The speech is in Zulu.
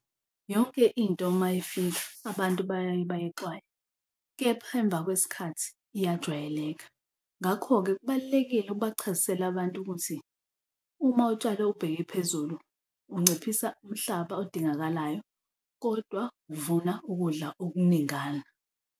Yonke into uma ifika abantu bayayebayixwaye, kepha emva kwesikhathi iyajwayeleka, ngakho-ke kubalulekile ubachazisele abantu ukuthi uma utshale ubheke phezulu unciphisa umhlaba odingakalayo kodwa uvuna ukudla okuningana.